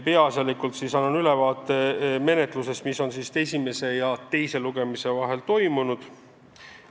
Peaasjalikult annan ülevaate menetlusest, mis on esimese ja teise lugemise vahel toimunud.